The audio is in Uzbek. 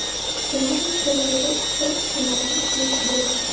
Ularning qo‘llarida ikkita chemodan yuk bo‘lgan.